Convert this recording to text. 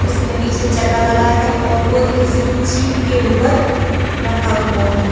इसमें पीछे चक्का लगा है और वो एक किसी जीप के ऊपर रखा हुआ है|